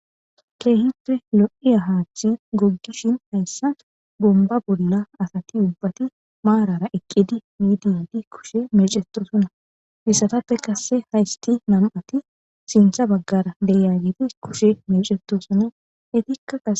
Keehippe lo'iya hathey gogishn haysan Bomba bolla asati ubati marara eqid kushe mecetosona ,izappe qase haysati nam'ati sintha bagara de'iyaget kushe mecetosona,etika qase....